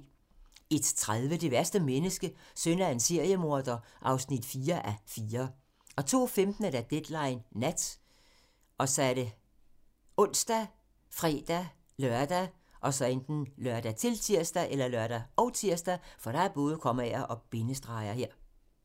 01:30: Det værste menneske - søn af en seriemorder (4:4) 02:15: Deadline Nat ( ons, fre-lør, -tir)